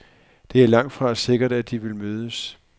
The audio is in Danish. Det er langtfra sikkert, at de vil mødes.